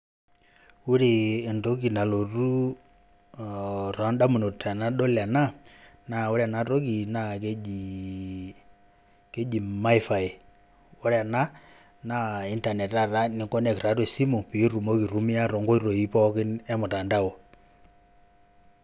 Ore entoki nalotu tondamunot tenadol ena, naa ore enatoki na keji, keji maifai. Ore ena, na Internet taata ni connect tiatua esimu, pitumoki aitumia tonkoitoi pookin emtandao.